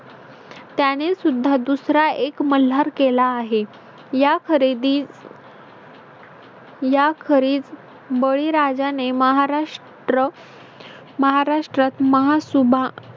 त्यानेसुद्धा दुसरा एक मल्हार केला आहे. या खरेदी या खरे बळीराजाने महाराष ट्र महाराष्ट्रात महासुभा